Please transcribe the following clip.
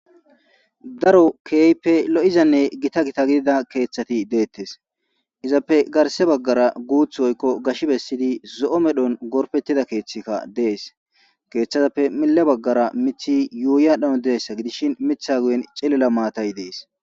Daro keeyppe lo7izanne gita gita gidida keeththati deettes izappe garse baggara guuth woykko gash bessidi zo7o medhon gorpettida keeththika dees keeththatappe mila baggara mithi yuuyadhano deessa gidishin mitha guyen cillila maatay dees